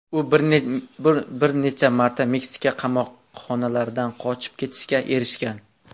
U bir necha marta Meksika qamoqlaridan qochib ketishga erishgan.